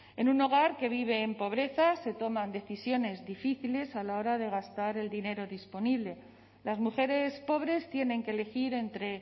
en un hogar que vive en pobreza se toman decisiones difíciles a la hora de gastar el dinero disponible las mujeres pobres tienen que elegir entre